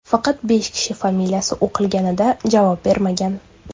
Faqat besh kishi familiyasi o‘qilganida javob bermagan.